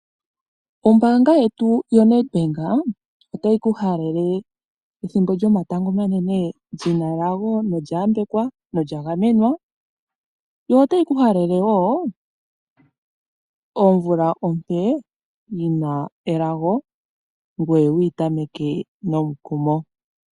Ombanga yetu yoNedbank otayi ku halele ethimbo lyomatango omanene lyina elago nolya yambwekwa nolya gamenwa. Yo otayiku halele wo omvula ompe yina elago ngoye wuyi tameke nomukumo.